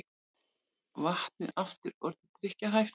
Vatnið aftur orðið drykkjarhæft